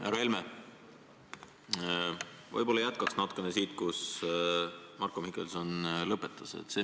Härra Helme, ma võib-olla jätkan sealt, kus Marko Mihkelson lõpetas.